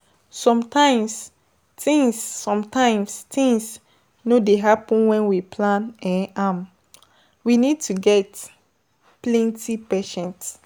Sometimes things Sometimes things no dey happen when we plan um am, we need to get plenty patience